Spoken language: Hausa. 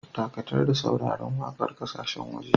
Dakatar da sauraron waƙar ƙasashen waje.